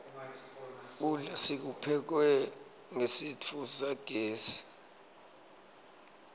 kudla kuphekwe ngesitfu sagezi